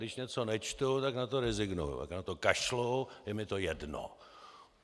Když něco nečtu, tak na to rezignuji, tak na to kašlu, je mi to jedno!